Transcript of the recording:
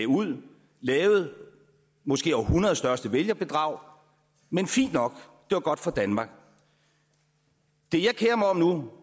ud lavede måske århundredets største vælgerbedrag men fint nok det var godt for danmark det jeg kerer mig om nu